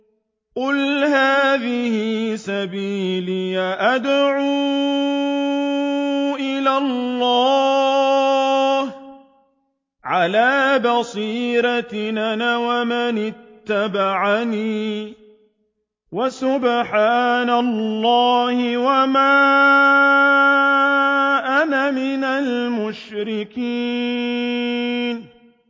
قُلْ هَٰذِهِ سَبِيلِي أَدْعُو إِلَى اللَّهِ ۚ عَلَىٰ بَصِيرَةٍ أَنَا وَمَنِ اتَّبَعَنِي ۖ وَسُبْحَانَ اللَّهِ وَمَا أَنَا مِنَ الْمُشْرِكِينَ